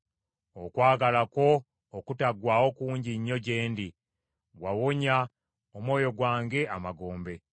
Okwagala kwo okutaggwaawo kungi nnyo gye ndi; wawonya omwoyo gwange amagombe.